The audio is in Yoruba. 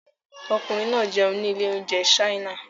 Ọkùnrin náà jẹun ní ilé-oúnjẹ China.